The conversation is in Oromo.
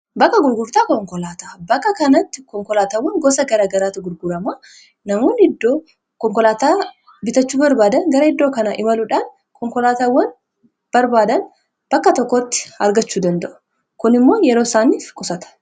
bakka gurgurtaa konkolaataa bakka kanatti konkolaatawwan gosa gara garaata gurgurama namuun iddoo konkolaataa bitachuu barbaadan gara iddoo kana imaluudhaan konkolaatawwan barbaadan bakka tokkotti argachuu danda'u kun immoo yeroo isaaniif qusata